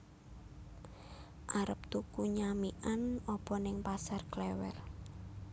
Arep tuku nyamikan opo ning Pasar Klewer